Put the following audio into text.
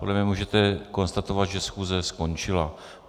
Podle mě můžete konstatovat, že schůze skončila.